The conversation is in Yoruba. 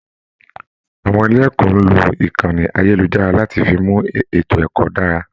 Àwọn ilé ẹkọ n lo ìkànnì ayelujara láti fí mú ètò ẹkọ dára.